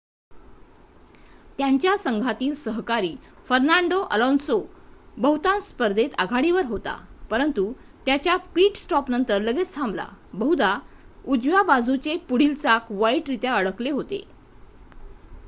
त्यांचा संघातील सहकारी फर्नांडो अलोन्सो बहुतांश स्पर्धेत आघाडीवर होता परंतु त्याच्या पिट-स्टॉपनंतर लगेच थांबला बहुधा उजव्या बाजूचे पुढील चाक वाईटरित्या अडकले होते